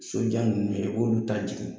Sojan ninnu ye i b'olu ta jigin